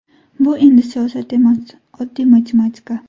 Bu endi siyosat emas, oddiy matematika”.